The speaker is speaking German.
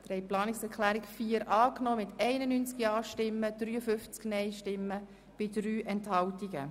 Sie haben die Planungserklärung 4 angenommen mit 91 Ja- gegen 53 Nein-Stimmen bei 3 Enthaltungen.